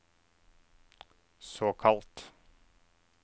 såkalt